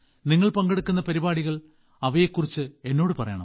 നിങ്ങൾ പങ്കെടുക്കുന്ന പരിപാടികൾ അവയെക്കുറിച്ച് എന്നോട് പറയണം